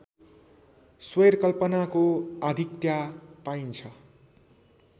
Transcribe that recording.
स्वैरकल्पनाको आधिक्यता पाइन्छ